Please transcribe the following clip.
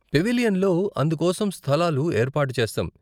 పెవిలియన్లో అందుకోసం స్థలాలు ఏర్పాటు చేస్తాం.